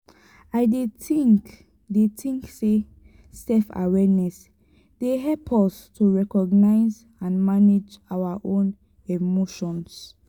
i dey think dey think say self-awareness dey help us to recognize and manage our own emotions.